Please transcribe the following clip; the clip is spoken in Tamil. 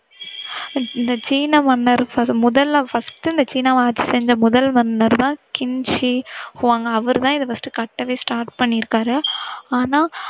இந்த சீன மன்னர் முதல first ல சீன மதத்தை சேர்ந்த முதல் மன்னர்தான் சின் ஷி ஹுவாங் அவர் தான் இத first கட்டவே start பண்ணிருக்காரு